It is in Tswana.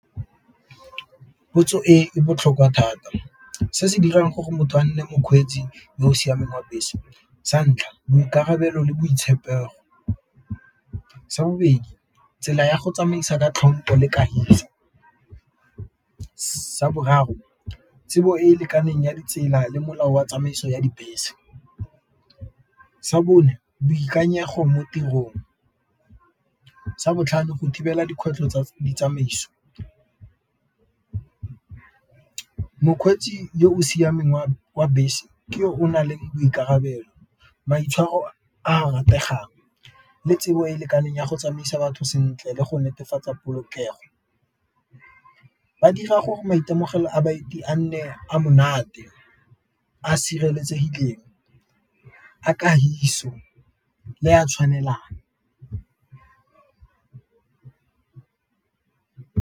Potso e botlhokwa thata se se dirang gore motho a nne mokgweetsi yo o siameng wa bese, santlha boikarabelo le botshepegi, sa bobedi tsela ya go tsamaisa ka tlhompo le kagiso, sa boraro tsebo e e lekaneng ya ditsela le molao wa tsamaiso ya dibese, sa bone boikanyego mo tirong, sa botlhano go thibela dikgwetlho tsa ditsamaiso. Mokgweetsi yo o siameng wa bese ke yo o nang le boikarabelo, maitshwaro a rategang le tsebo e e lekaneng ya go tsamaisa batho sentle le go netefatsa polokego, ba dira gore maitemogelo a baeti a nne a monate, a sireletsegileng a le a tshwanelang.